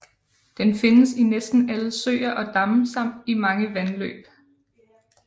Den findes i næsten alle søer og damme samt i mange vandløb